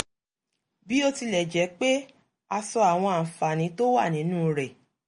bí ó tilẹ̀ jẹ́ pé a sọ àwọn àǹfààní tó wà nínú rẹ̀